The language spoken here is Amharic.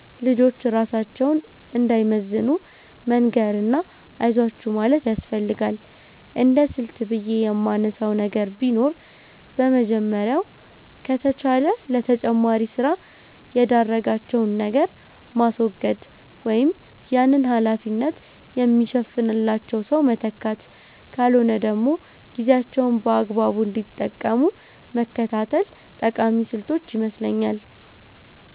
ልጆች ራሳቸውን እንዳይመዝኑ መንገር እና አይዟችሁ ማለት ያስፈልጋል። እንደስልት ብየ የማነሳው ነገር ቢኖር የመጀመሪያው ከተቻለ ለተጨማሪ ስራ የዳረጋቸውን ነገር ማስወገድ ወይም ያንን ሀላፊነት የሚሸፍንላቸው ሰው መተካት ካልሆነ ደግሞ ጊዜያቸውን በአግባቡ እንዲጠቀሙ መከታተል ጠቃሚ ስልቶች ይመስለኛል።